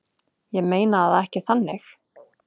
Ég meina það ekki þannig.